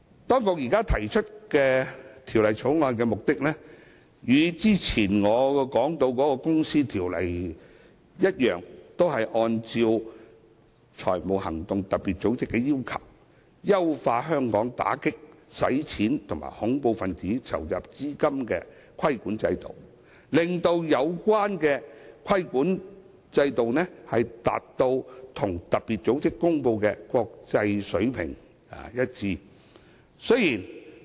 當局提出《條例草案》的目的，與之前我說的《公司條例》一樣，都是按照特別組織的要求，優化香港打擊洗錢和恐怖分子籌集資金的規管制度，令有關規管制度和特別組織公布的國際水平達成一致。